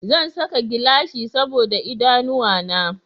Zan saka gilashi saboda idanuwa na